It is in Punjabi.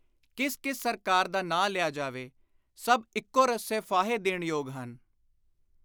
ਕਿਸ ਕਿਸ ਸਰਕਾਰ ਦਾ ਨਾਂ ਲਿਆ ਜਾਵੇ, ਸਭ ਇਕੋ ਰੱਸੇ ਫਾਹੇ ਦੇਣ ਯੋਗ ਹਨ।